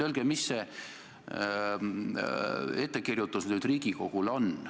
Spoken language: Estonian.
Öelge, milline ettekirjutus Riigikogule on tehtud.